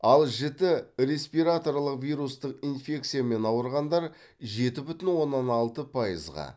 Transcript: ал жіті респираторлық вирустық инфекциямен ауырғандар жеті бүтін оннан алты пайызға